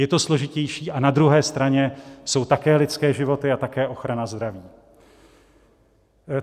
Je to složitější, a na druhé straně jsou také lidské životy a také ochrana zdraví.